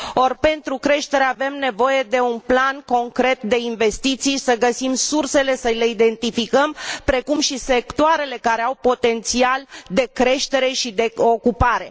Or, pentru creștere avem nevoie de un plan concret de investiții, să găsim sursele, să le identificăm, precum și sectoarele care au potențial de creștere și de ocupare.